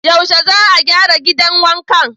Yaushe za a gyara gidan wankan?